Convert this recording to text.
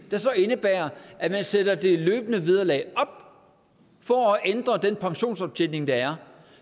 der så indebærer at man sætter det løbende vederlag op for at ændre den pensionsoptjening der er